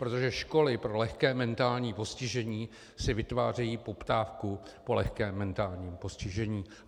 Protože školy pro lehké mentální postižení si vytvářejí poptávku po lehkém mentálním postižení.